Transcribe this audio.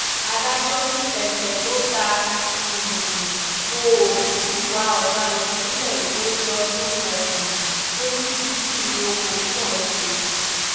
adájọ́ ní ẹsẹ tó ta um ko òfin ìwà ọ̀daràn ìpínlẹ̀ èkó ti ọdún um twenty fifteen ni ọkùnrin náà ṣe